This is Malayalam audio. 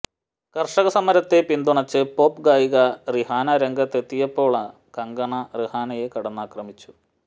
കര്ഷക സമരത്തെ പിന്തുണച്ച് പോപ് ഗായിക റിഹാന രംഗത്തെത്തിയപ്പോള് കങ്കണ റിഹാനയെ കടന്നാക്രമിച്ചു